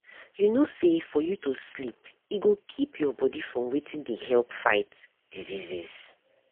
you know say for you to sleep e go keep your body from wetin dey help fight diseases.